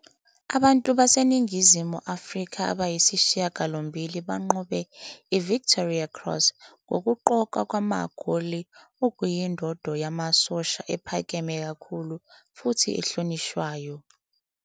Abantu baseNingizimu Afrika abayisishiyagalombili banqobe iVictoria Cross ngokuqokwa ngamagoli, okuyindondo yamasosha ephakeme kakhulu futhi ehlonishwayo.